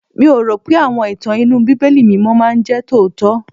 Mi ò rò pé àwọn ìtàn inú Bíbélì mímọ́ máa jẹ́ tòótọ́.